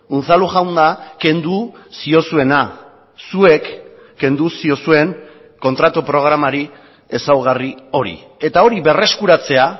unzalu jauna kendu ziozuena zuek kendu ziozuen kontratu programari ezaugarri hori eta hori berreskuratzea